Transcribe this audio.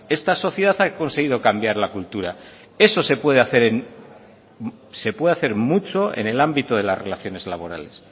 esta sociedad ha conseguido cambiar la cultura eso se puede hacer mucho en el ámbito de las relaciones laborales